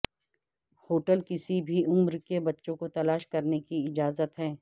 hotel کسی بھی عمر کے بچوں کو تلاش کرنے کی اجازت ہے